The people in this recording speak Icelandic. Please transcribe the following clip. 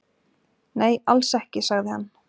"""Nei, alls ekki, sagði hann."""